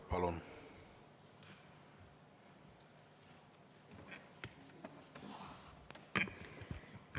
Palun!